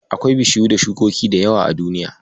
Akwai bishiyu da shukoki da yawa a duniya.